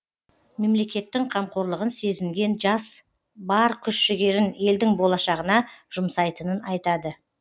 мемлекеттің қамқорлығын сезінген жас бар күш жігерін елдің болашағына жұмсайтынын айтады